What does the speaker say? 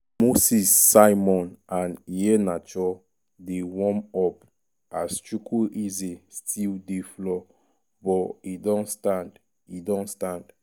moses simon and iheanacho dey warm up- as chukwueze still dey floor but e don stand. e don stand.